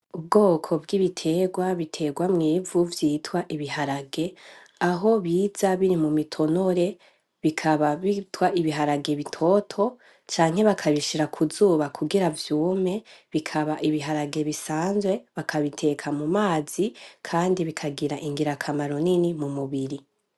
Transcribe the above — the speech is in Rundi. Ubwoko bw’ibiterwa biterwa mw’ivu vyitwa ibiharage , Aho biza biri mu mitonore bikaba vyitwa ibiharage bitoto canke bakabishira ku zuba kugira vyume bikaba ibiharage bisanzwe, bakabiteka mu mazi kandi bikagira ingirakamaro nini mu mubiri.